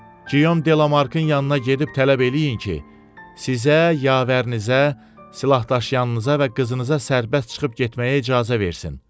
Guillaume Delamarkın yanına gedib tələb eləyin ki, sizə, yavərinizə, silahdaşıyanınıza və qızınıza sərbəst çıxıb getməyə icazə versin.